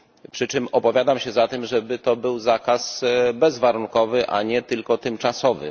Przy czym opowiadam się za tym, żeby to był zakaz bezwarunkowy, a nie tylko tymczasowy.